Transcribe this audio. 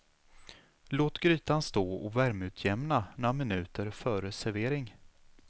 Låt grytan stå och värmeutjämna några minuter före servering.